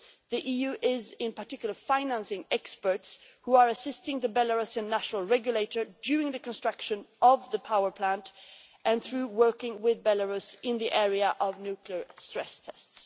The EU is, in particular, financing experts who are assisting the Belarusian national regulator during the construction of the power plant and through working with Belarus in the area of nuclear stress tests.